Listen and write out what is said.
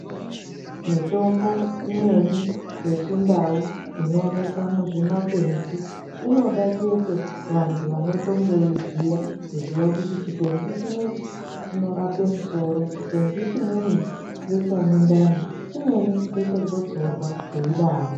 Mitombo imweni yechindau inooneka muzvimakwenzi inoda chete vantu vanotongoiziya kuziya kuti chikwenzi chinechi chinorape musoro, chikwenzi chinechi ngechemundani chimweni ngechegotsorwa zveidaro.